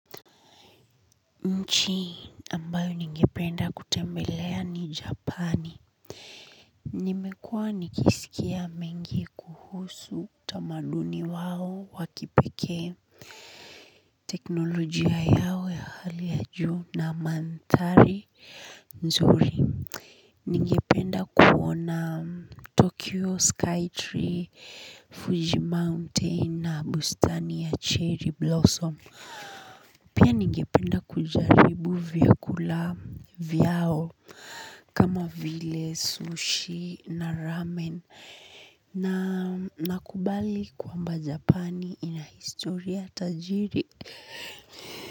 Nchi ambayo ningependa kutembelea ni japani. Nimekuwa nikisikia mengi kuhusu utamaduni wao wakipekee. Teknolojia yao ya hali ya juu na mandhari nzuri. Ningependa kuona tokyo sky tree fuji mountain na bustani ya cherry blossom. Pia ningependa kujaribu vyakula vyao kama vile sushi na ramen na nakubali kwamba Japani ina historia tajiri.